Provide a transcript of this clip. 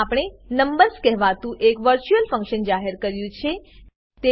આમાં આપણે નંબર્સ કહેવાતું એક વર્ચ્યુઅલ ફંકશન વર્ચ્યુઅલ ફંક્શન જાહેર કર્યું છે